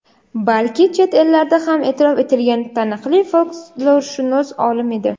balki chet ellarda ham e’tirof etilgan taniqli folklorshunos olim edi.